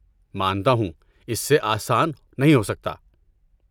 مانتا ہوں! اس سے آسان نہیں ہو سکتا۔